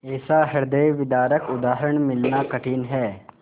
ऐसा हृदयविदारक उदाहरण मिलना कठिन है